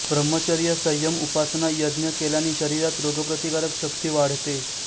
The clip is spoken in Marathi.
ब्रह्मचर्य संयम उपासना यज्ञ केल्याने शरीरात रोगप्रतिकारक शक्ती वाढते